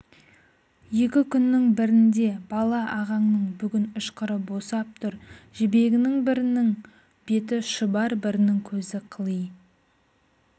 екі күннің бірінде бала ағаңның бүгін ышқыры босап тұр қызжібегінің бірніің беті шұбар бірінің көзі қыли